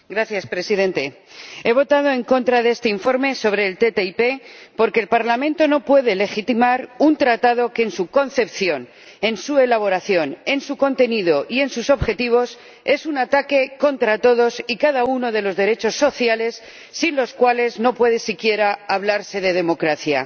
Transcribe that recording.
Señor Presidente, he votado en contra de este informe sobre la ATCI porque el Parlamento no puede legitimar un tratado que en su concepción, en su elaboración, en su contenido y en sus objetivos es un ataque contra todos y cada uno de los derechos sociales, sin los cuales no puede siquiera hablarse de democracia.